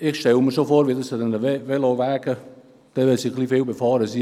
Ich stelle mir vor, wie das an einem vielbefahrenen Veloweg aussieht: